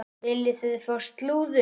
Viljið þið fá slúður?